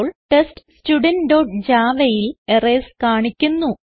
ഇപ്പോൾ TestStudentjavaയിൽ എറർസ് കാണിക്കുന്നു